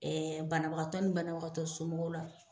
Ɛɛ banabagatɔ ni banabagatɔ somɔgɔw la